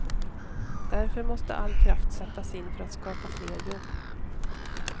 Därför måste all kraft sättas in för att skapa fler jobb.